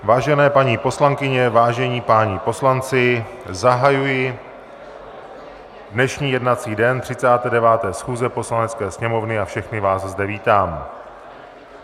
Vážené paní poslankyně, vážení páni poslanci, zahajuji dnešní jednací den 39. schůze Poslanecké sněmovny a všechny vás zde vítám.